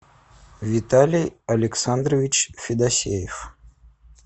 виталий александрович федосеев